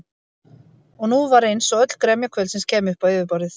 En nú var eins og öll gremja kvöldsins kæmi upp á yfirborðið.